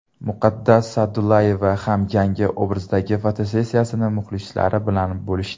Muqaddas Sa’dullayeva ham yangi obrazdagi fotosessiyasini muxlislari bilan bo‘lishdi.